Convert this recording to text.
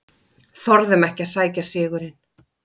Þorðum ekki að sækja sigurinn